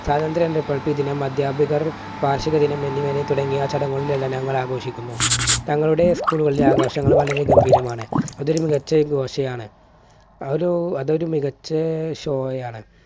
അധ്യാപകർ വാർഷിക ദിനം എന്നിവ തുടങ്ങിയ ചടങ്ങുകളിൽ എല്ലാം ഞങ്ങൾ ആഘോഷിക്കുന്നു. തങ്ങളുടെ school കളിലെ ആഘോഷങ്ങൾ വളരെ ഗംഭീരമാണ്. അത് ഒരു മികച്ച ഘോഷയാണ് അതൊരു അതൊരു മികച്ച show ആണ്.